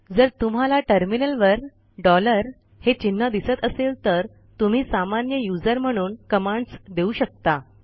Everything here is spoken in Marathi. जर तुम्हाला टर्मिनलवर डॉलर हे चिन्ह दिसत असेल तर तुम्ही सामान्य यूझर म्हणून कमांडस देऊ शकता